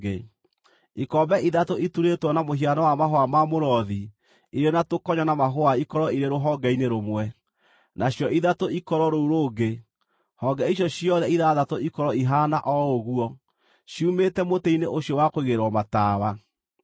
Ikombe ithatũ iturĩtwo na mũhiano wa mahũa ma mũrothi irĩ na tũkonyo na mahũa ikorwo irĩ rũhonge-inĩ rũmwe, nacio ithatũ ikorwo rũu rũngĩ; honge icio ciothe ithathatũ ikorwo ihaana o ũguo, ciumĩte mũtĩ-inĩ ũcio wa kũigĩrĩrwo matawa.